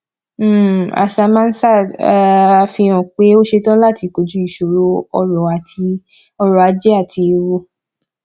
axamansard fi hàn pé ó ṣetan láti kojú ìṣòro ọrọ ajé àti ewu